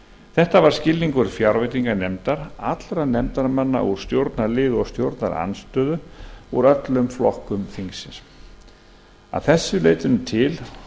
þetta var skilningur fjárveitinganefndar allra nefndarmanna úr stjórnarliði og stjórnarandstöðu úr öllum flokkum þingsins að þessu leytinu til